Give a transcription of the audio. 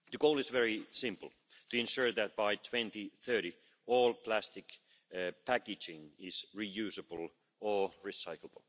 further studies. Firstly, the visibility study on the use of the information system to enable information on the presence of substances of concern in materials to be available